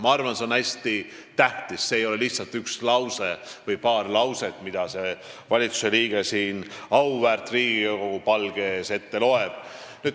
Ma arvan, et see on hästi tähtis, see ei ole lihtsalt paar lauset, mida valitsuse liige siin auväärt Riigikogu palge ees ette loeb.